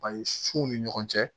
Bari fuw ni ɲɔgɔn cɛ